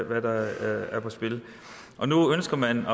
hvad der er på spil og nu ønsker man